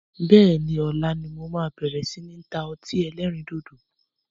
Bẹ́ẹ̀ni, ọ̀la ni mo máa bẹ̀rẹ̀ si ni ta ọtí ẹlẹ́rìndòdò